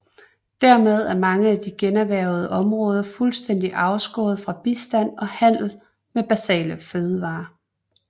Dermed er mange af de generhvervede områder fuldstændig afskåret fra bistand og handel med basale fødevarer